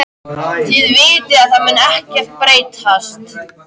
Þið vitið að það mun ekkert breytast.